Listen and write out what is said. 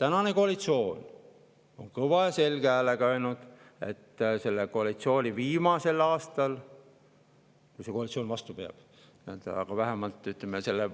Tänane koalitsioon on kõva ja selge häälega öelnud, et selle koalitsiooni viimasel aastal – kui see koalitsioon vastu peab, aga vähemalt, ütleme, selle